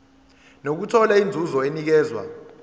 nokuthola inzuzo enikezwa